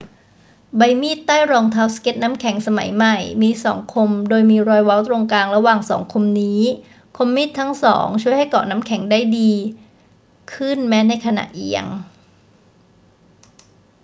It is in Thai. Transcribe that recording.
ใบมีดใต้รองเท้าสเกตน้ำแข็งสมัยใหม่มีสองคมโดยมีรอยเว้าตรงกลางระหว่างสองคมนี้ คมมีดทั้งสองช่วยให้เกาะน้ำแข็งได้ดีขึ้นแม้ในขณะเอียง